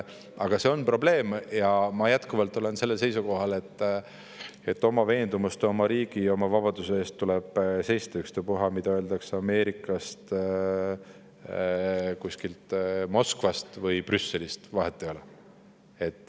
Aga see on probleem ja ma olen jätkuvalt sellel seisukohal, et oma veendumuste, oma riigi ja oma vabaduse eest tuleb seista, ükstapuha, mida öeldakse Ameerikast, kuskilt Moskvast või Brüsselist, vahet ei ole.